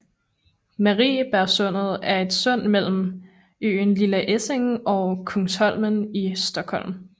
Mariebergssundet er et sund mellem øen Lilla Essingen og Kungsholmen i Stockholm